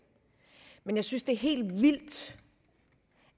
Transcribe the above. men jeg synes det er helt vildt